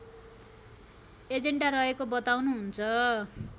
agenda रहेको बताउनुहुन्छ